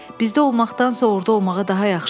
Bizdə olmaqdansa orda olmağa daha yaxşıdır.